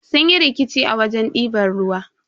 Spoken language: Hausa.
Sun yi rikici a wajen diban ruwa.